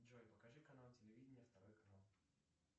джой покажи канал телевидения второй канал